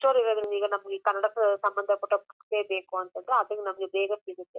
Book store ಇರೋದ್ರಿಂದ ಈಗ ನಮಗೆ ಕನ್ನಡ ಸಂಭಂದಪಟ್ಟ ಬುಕ್ಸ್ ಬೇಕು ಅಂದ್ರೆ ಅದು ನಮಗೆ ಬೇಗ ಸಿಗುತ್ತೆ.